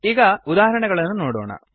ಈಗ ಉದಾಹರಣೆಗಳನ್ನು ನೋಡೋಣ